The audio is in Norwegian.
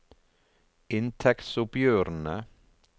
inntektsoppgjørene